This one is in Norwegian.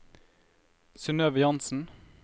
Synnøve Jansen